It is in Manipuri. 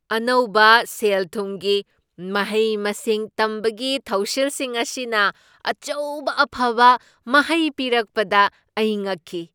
ꯑꯅꯧꯕ ꯁꯦꯜ ꯊꯨꯝꯒꯤ ꯃꯍꯩ ꯃꯁꯤꯡ ꯇꯝꯕꯒꯤ ꯊꯧꯁꯤꯜꯁꯤꯡ ꯑꯁꯤꯅ ꯑꯆꯧꯕ ꯑꯐꯕ ꯃꯍꯩ ꯄꯤꯔꯛꯄꯗ ꯑꯩ ꯉꯛꯈꯤ ꯫